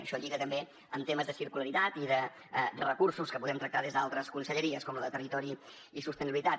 això lliga també en temes de circularitat i de recursos que podem tractar des d’altres conselleries com la de territori i sostenibilitat